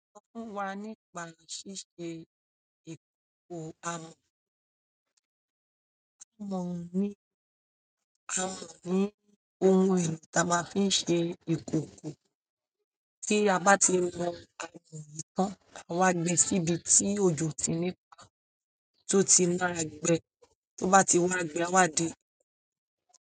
Sọ fún wa nípa ṣíṣe ìkòkò amọ̀. Mo mọ èlò táa máa fi ń ṣe ìkòkò tí a bá ti yan amọ̀ yìí tán, a máa wá gbé síbi tí òjò ò ti ní paá tó ti máa gbẹ tó bá ti wá gbẹ, áá wá di.